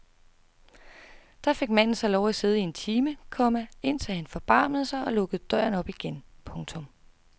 Der fik manden så lov at sidde i en time, komma indtil han forbarmede sig og lukkede døren op igen. punktum